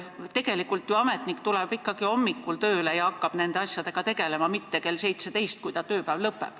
Tegelikult tuleb ju ametnik ikkagi hommikul tööle ja hakkab nende asjadega siis tegelema, ta ei tee seda mitte kell 17, kui ta tööpäev lõpeb.